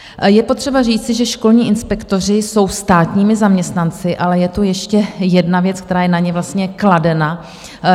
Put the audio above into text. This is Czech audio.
Je potřeba říci, že školní inspektoři jsou státními zaměstnanci, ale je tu ještě jedna věc, která je na ně kladena.